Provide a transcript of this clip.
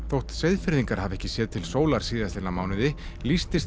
þótt Seyðfirðingar hafi ekki séð til sólar síðastliðna mánuði